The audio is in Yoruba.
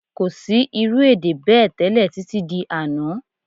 Kò sí irú èdè bẹ́ẹ̀ tẹ́lẹ̀ títí di àná